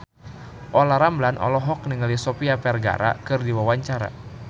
Olla Ramlan olohok ningali Sofia Vergara keur diwawancara